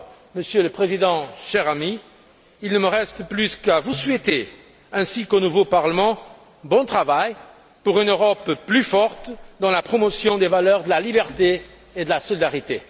Monsieur le Président, cher ami, il ne me reste plus qu'à vous souhaiter, ainsi qu'au nouveau Parlement, bon travail pour une Europe plus forte dans la promotion des valeurs de liberté et de solidarité.